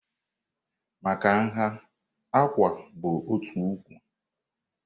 Maka nha, "Àkwà" bụ otu ụkwụ.